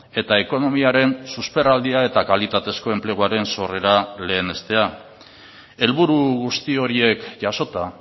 eta ekonomiaren susperraldia eta kalitatezko enpleguaren sorrera lehenestea helburu guzti horiek jasota